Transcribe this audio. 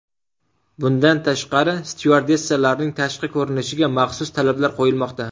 Bundan tashqari, styuardessalarning tashqi ko‘rinishiga maxsus talablar qo‘yilmoqda.